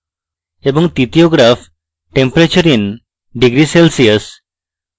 তৃতীয় graph temperature in degree celsius